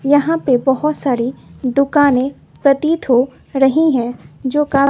यहां पे बहोत सारी दुकानें प्रतीत हो रही है जो का--